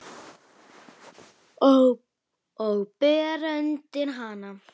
Og bera undir hana.